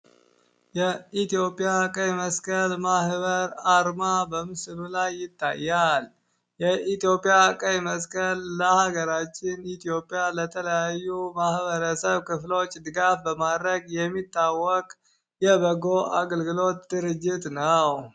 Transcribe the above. የኢትዮጵያ ቀይ መስቀል ማህበር አርማ በምስሉ ላይ ይታያል። የኢትዮጵያ ቀይ መስቀል ለሀገራችን ኢትዮጵያ ለተለያዩ ማህበረሰብ ክፍሎች ድጋፍ በማድረግ የሚታወቅ የበጎ አገልግሎት ድርጅት ነው።